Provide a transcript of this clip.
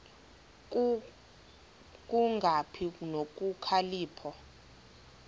ku kungabi nokhalipho